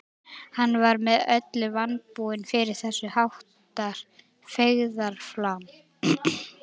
Hann var með öllu vanbúinn fyrir þess háttar feigðarflan.